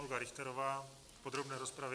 Olga Richterová v podrobné rozpravě.